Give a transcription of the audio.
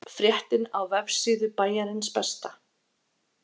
Fréttin á vefsíðu Bæjarins besta